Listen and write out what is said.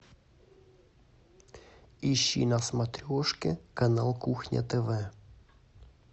ищи на смотрешке канал кухня тв